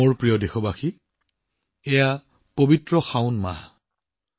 মোৰ প্ৰিয় দেশবাসী বৰ্তমান পবিত্ৰ শাওন মাহ চলি আছে